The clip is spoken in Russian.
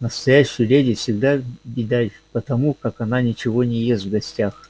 настоящую леди всегда видать по тому как она ничего не ест в гостях